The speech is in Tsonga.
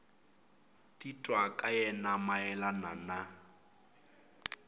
titwa ka yena mayelana na